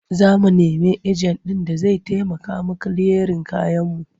Za mu nemi ejen ɗin da zai taimaka mu yi kiliyarin kayanmu.